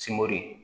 Simori